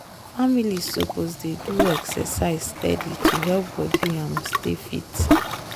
families suppose dey do exercise steady to help body um stay fit.